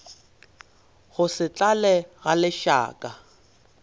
go se tlale ga lešaka